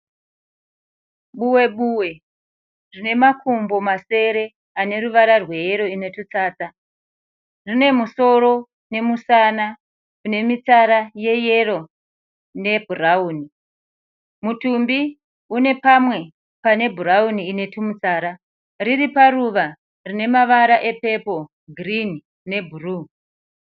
Buwe -buwe rine makumbo masere ane ruvara rweyero ine tutsatsa. Rine musoro nemusana une mitsara yeyero nebhurauni. Mutumbi une pamwe pane bhurauni ine twumitsara. Riri paruva rine mavara epepuru, girinni ne bhuruu.